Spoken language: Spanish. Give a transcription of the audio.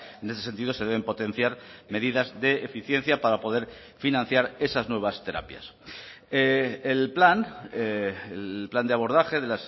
en ese sentido se deben potenciar medidas de eficiencia para poder financiar esas nuevas terapias el plan el plan de abordaje de